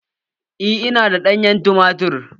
Eh, ina da ɗanyen tumatir.